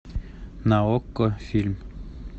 на окко фильм